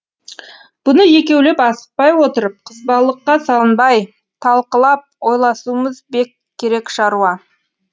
бұны екеулеп асықпай отырып қызбалыққа салынбай талқылап ойласуымыз бек керек шаруа